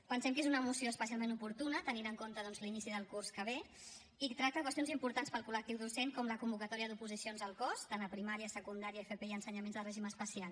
pensem que és una moció especialment oportuna tenint en compte doncs l’inici del curs que ve i que tracta qüestions importants per al col·lectiu docent com la convocatòria d’oposicions al cos tant a primària secundària fp i ensenyaments de règim especial